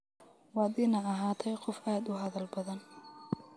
Waad ina ahatahy qof aad udadhal badhan.